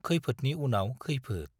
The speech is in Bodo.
खैफोदनि उनाव खैफोद